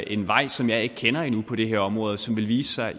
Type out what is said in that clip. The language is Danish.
en vej som jeg ikke kender endnu på det her område og som vil vise sig